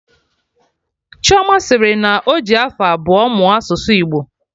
Chioma sịrị na ọjị afọ abụọ mụọ asụsụ Igbo